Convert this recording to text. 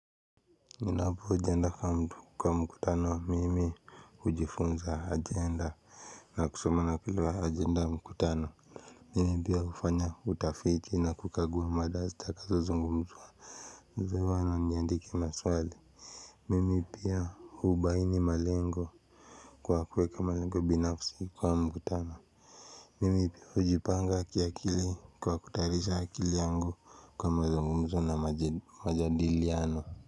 Ninapo agenda kwa mtu kwa mkutano mimi hujifunza agenda na kusoma na kuelewa agenda ya mkutano Mimi pia hufanya utafiti na kukagua mada zitakazozungumziwa na niandike maswali Mimi pia hubaini malengo kwa kuweka malengo binafsi kwa mkutano Mimi pia hujipanga kiakili kwa kutayarisha akili yangu kwa mazungumzo na majadiliano.